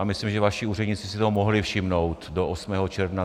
A myslím, že vaši úředníci si toho mohli všimnout do 8. června.